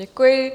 Děkuji.